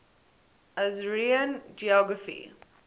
assyrian geography